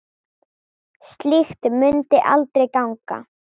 Slíkt mundi aldrei ganga.